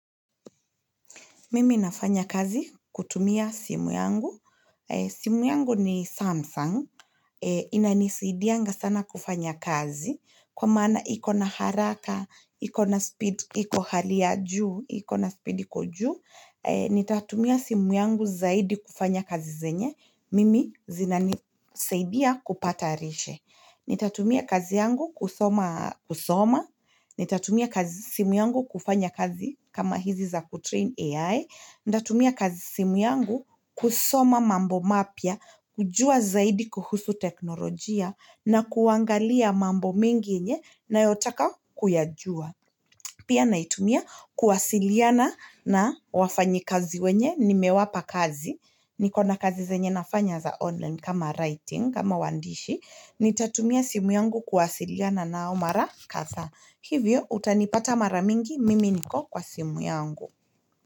Mimi nafanya kazi kutumia simu yangu simu yangu ni samsung ina nisaidianga sana kufanya kazi kwa maana iko na haraka, iko na speed, iko hali ya juu, iko na speed iko juu nitatumia simu yangu zaidi kufanya kazi zenye mimi zinanisaidia kupata lishe nitatumia kazi yangu kusoma kusoma nitatumia simu yangu kufanya kazi kama hizi za kutrain AI nitatumia kazi simu yangu kusoma mambo mapya kujua zaidi kuhusu teknolojia na kuangalia mambo mengi yenye na yotaka kuyajua pia naitumia kuwasiliana na wafanyi kazi wenye nimewapa kazi, niko na kazi zenye na fanya za online kama writing kama wandishi, nitatumia simu yangu kuwasiliana nao mara kadhaa hivyo utanipata mara mingi mimi niko kwa simu yangu.